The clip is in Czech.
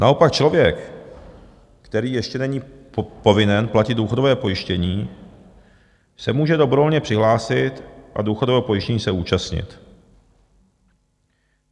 Naopak člověk, který ještě není povinen platit důchodové pojištění, se může dobrovolně přihlásit a důchodového pojištění se účastnit.